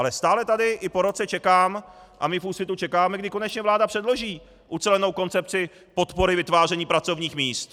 Ale stále tady i po roce čekám a my v Úsvitu čekáme, kdy konečně vláda předloží ucelenou koncepci podpory vytváření pracovních míst.